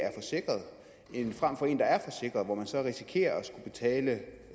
er forsikret frem for en der er forsikret hvor man så risikerer at skulle betale